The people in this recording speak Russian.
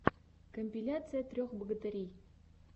компиляция трех богатырей